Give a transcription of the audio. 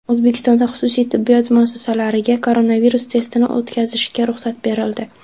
O‘zbekistonda xususiy tibbiyot muassasalariga koronavirus testini o‘tkazishga ruxsat berildi.